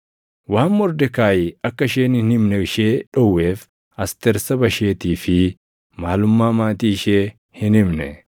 Waan Mordekaayi akka isheen hin himne ishee dhowweef Asteer saba isheetii fi maalummaa maatii ishee hin himne.